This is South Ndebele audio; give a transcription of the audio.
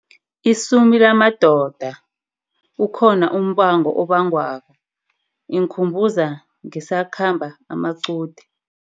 Isumi lamadoda, ukhona umbango obangwako inkhumbuza ngisakhamba amaqude.